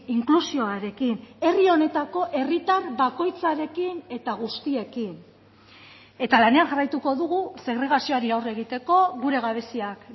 inklusioarekin herri honetako herritar bakoitzarekin eta guztiekin eta lanean jarraituko dugu segregazioari aurre egiteko gure gabeziak